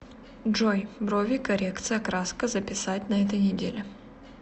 джой брови коррекция краска записать на этой неделе